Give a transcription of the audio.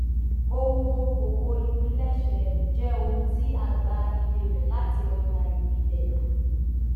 ohun okòwò ìpilẹṣẹ jẹ ohun tí a gbà iye rẹ láti ọjà ìpìlẹ